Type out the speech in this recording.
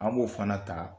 An b'o fana ta